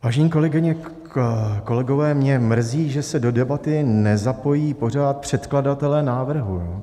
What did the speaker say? Vážené kolegyně, kolegové, mě mrzí, že se do debaty nezapojují pořád předkladatelé návrhu.